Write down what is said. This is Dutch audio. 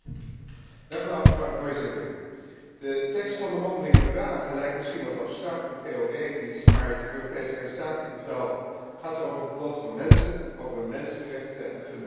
Voorzitter, de tekst van de mondelinge vragen lijkt misschien wat abstract en theoretisch, maar het Europese arrestatiebevel gaat toch over het lot van mensen, over mensenrechten en fundamentele vrijheden.